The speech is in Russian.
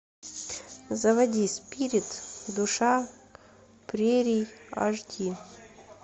заводи спирит душа прерий аш ди